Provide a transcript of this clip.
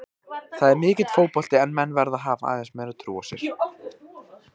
Það er mikill fótbolti en menn verða að hafa aðeins meiri trú á sér.